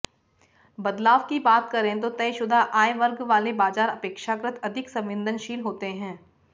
बदलाव की बात करें तो तयशुदा आय वर्ग वाले बाजार अपेक्षाकृत अधिक संवेदनशील होते हैं